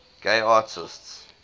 gay artists